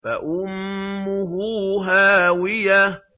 فَأُمُّهُ هَاوِيَةٌ